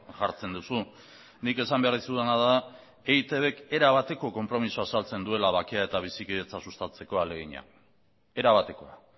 jartzen duzu nik esan behar dizudana da eitbk era bateko konpromisoa azaltzen duela bakea eta bizikidetza sustatzeko ahalegina era batekoa